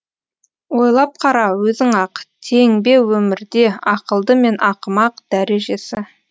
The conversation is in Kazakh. ойлап қара өзің ақ тең бе өмірде ақылды мен ақымақ дәрежесі